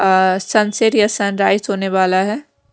Sunset या sunrise होने वाला है।